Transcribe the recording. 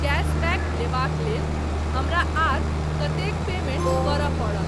Cashback लेबाक लेल हमरा आर कतेक पेमेंट करय पड़त।